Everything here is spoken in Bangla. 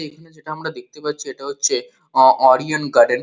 এখানে যেটা আমরা দেখতে পাচ্ছি এটা হচ্ছে ওরিয়ন গার্ডেন ।